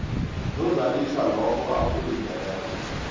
nozalisa lokho akulindeleko